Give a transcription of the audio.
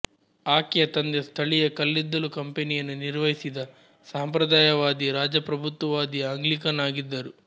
ಆಕೆಯ ತಂದೆ ಸ್ಥಳೀಯ ಕಲ್ಲಿದ್ದಲು ಕಂಪನಿಯನ್ನು ನಿರ್ವಹಿಸಿದ ಸಂಪ್ರದಾಯವಾದಿ ರಾಜಪ್ರಭುತ್ವವಾದಿ ಆಂಗ್ಲಿಕನ್ ಆಗಿದ್ದರು